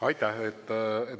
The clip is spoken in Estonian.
Aitäh!